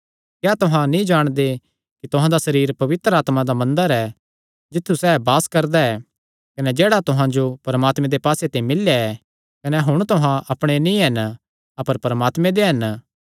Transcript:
क्या तुहां नीं जाणदे कि तुहां दा सरीर पवित्र आत्मा दा मंदर ऐ जित्थु सैह़ वास करदा ऐ कने जेह्ड़ा तुहां जो परमात्मे दे पास्से ते मिल्लेया ऐ कने हुण तुहां अपणे नीं हन अपर परमात्मे दे हन